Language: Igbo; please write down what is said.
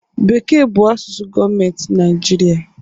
Bekee bụ asụsụ gọọmentị Naịjirịa